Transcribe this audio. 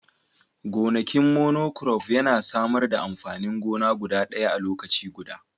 gonakin monocrop yana samar da amfanin gona guda ɗaya a lokaci guda